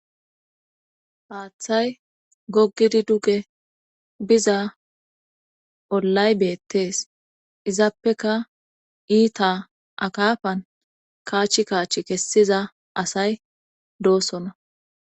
Haaththay gogidi duge biza ollay beettees izaappeka iita akaafan kaachch kaach kessiza asay doosona